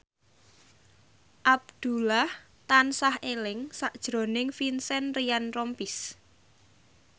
Abdullah tansah eling sakjroning Vincent Ryan Rompies